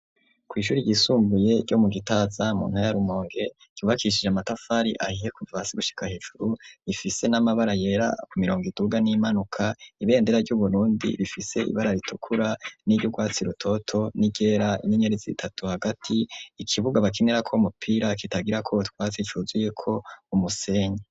Kw'ishuri ryisumbuye ryo mu Gitaza, mu ntara ya Rumonge, ryubakishije amatafari ahiye kuva hasi gushika hejuru, rifise n'amabara yera ku mirongo iduga n'iyimanuka. Ibendera ry'Uburundi rifise ibara ritukura n'urwatsi rutoto n'iryera, inyenyeri zitatu hagati, ikibuga bakinirako umupira kitagirako utwatsi cuzuyeko umusenyi.